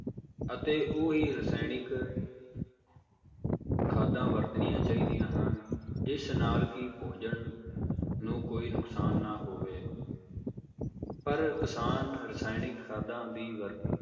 ਅਤੇ ਉਹ ਹੀ ਰਾਸਾਇਨਿਕ ਖਾਦਾਂ ਵਰਤਣੀਆਂ ਚਾਹੀਦੀਆਂ ਹਨ ਜਿਸ ਨਾਲ ਕਿ ਭੋਜਨ ਨੂੰ ਕੋਈ ਨੁਕਸਾਨ ਨਾ ਹੋਵੇ ਪਰ ਕਿਸਾਨ ਰਸਾਇਣਿਕ ਖਾਦਾਂ ਦੀ ਵਰਤੋਂ